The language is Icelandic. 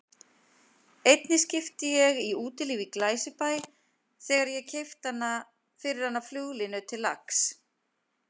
Einni skipti ég í Útilífi í Glæsibæ þegar ég keypti fyrir hana flugulínu til lax